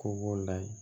Ko b'o la ye